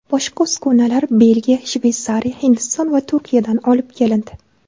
Boshqa uskunalar Belgiya, Shveysariya, Hindiston va Turkiyadan olib kelindi.